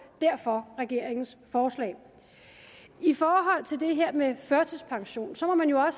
derfor regeringens forslag i forhold til det her med førtidspensionen må man jo